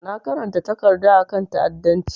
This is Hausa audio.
Na karanta takarda a kan ta'adancci.